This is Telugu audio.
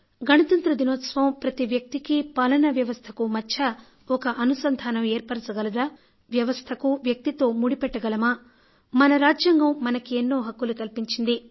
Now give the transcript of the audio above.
గణతంత్ర దినోత్సవం ప్రతి వ్యక్తికీ పాలనా వ్యవస్థకూ మధ్య ఒక అనుసంధానం ఏర్పరచగలదా వయి వస్థకు వ్యక్తితో ముడిపెట్టగలమా మన రాజ్యాంగం మనకు ఎన్నో హక్కులు కల్పించింది